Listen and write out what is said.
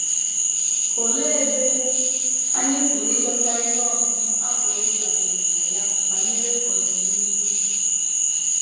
Olee ebe anyị pụrụ ịchọta ihe ọmụma a pụrụ ịdabere na ya banyere ọdịnihu?